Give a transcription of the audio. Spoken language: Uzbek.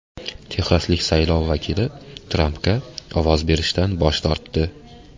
Texaslik saylov vakili Trampga ovoz berishdan bosh tortdi.